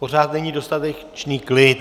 Pořád není dostatečný klid...